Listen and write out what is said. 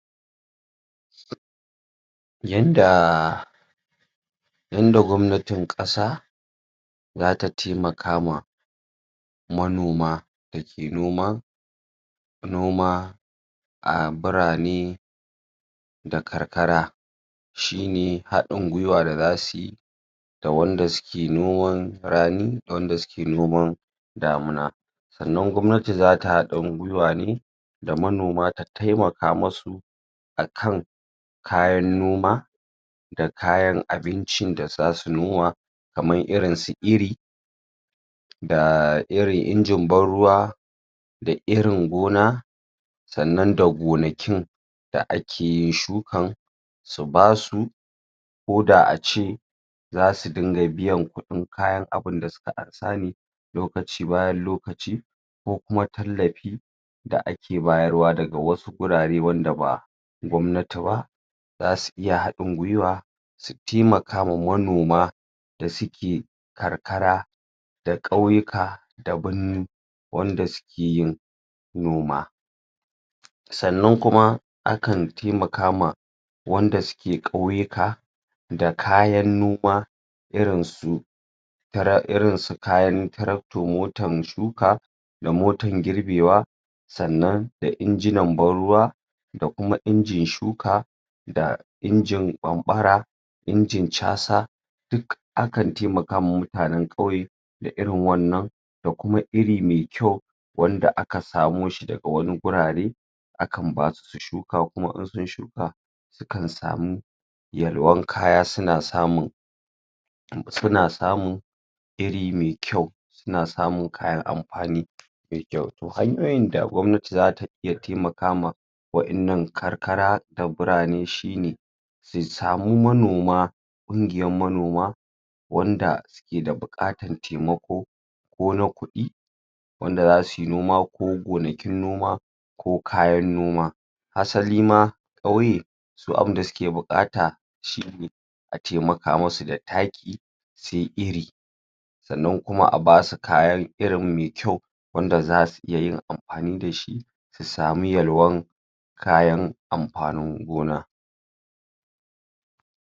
yan da yanda gwamnatin kasa zata taimakama manoma dake noma noma a baranai da karkara shine hadin gwiwa da zasuyi da wanda suke noman rani da wadan da suke noman damuna sa'anan gwamnati zata hadin gwiwa ne da manoma ta taimaka musu akan kayan noma da kayan abincin da zasu noma kaman irinsu iri da irin ingin banruwa da irin gona sa'anan da gonakin da akeyin shukan su basu koda ace zasu dinga biyan kudin kayan abunda suka ansa ne lokaci bayan lokaci kokuma tallafi da ake bayarwa daga wasu wurare wanda ba gwamnati ba zasu iya haɗin gwiwa su taimaka ma manoma da suke karkara da kauyuka da birni wanda suke yin noma sa'anan kuma akan taimakama wanda suke kauyuka da kayan noma irin su tra irinsu kayan tractor motan shuka da motan girbewa sa'anan da inginan banruwa da kuma injin shuka da injin ɓanɓara injin chasa duk akan taimakawa mutanen kauye da irin wannan da kuma iri mai kyau wanda aka samoshi daga wani gurare akan basu su shuka kuma in sun shuka sukan samu yalwan kaya suna samun suna samun iri mai kyau suna samun kayan amfani me kyau to hanyoyin da gwamnati zatayi ya taimaka ma waƴan nan karkara da buranai shine su samu manoma kungiyan manoma wanda sukeda bukatan taimako kona kudi wanda zasuyi noma ko gonakin noma ko kayan noma asalima su abunda suke bukata shine ataimaka musu da taki se iri sa'anan kuma abasu kayan iri me kyau wanda zasu iyayin amfani dashi su samu yalwan kayan amfanin gona